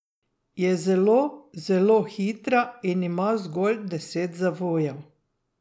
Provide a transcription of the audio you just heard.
Je zelo, zelo hitra in ima zgolj deset zavojev.